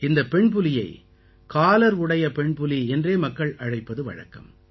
இந்தப் பெண்புலியை காலர் உடைய பெண்புலி என்றே மக்கள் அழைப்பது வழக்கம்